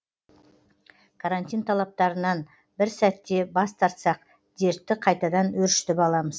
карантин талаптарынан бір сәтте бас тартсақ дертті қайтадан өршітіп аламыз